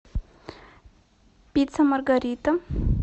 пицца маргарита